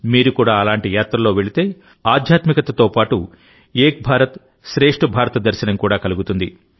మీరు కూడా అలాంటి యాత్రలో వెళితే ఆధ్యాత్మికతతో పాటు ఏక్ భారత్శ్రేష్ట భారత్ దర్శనం కూడా కలుగుతుంది